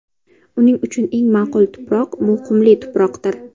Uning uchun eng ma’qul tuproq – bu qumli tuproqdir.